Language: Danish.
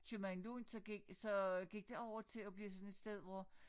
Købmand Lund så gik så gik det over til at blive sådan et sted hvor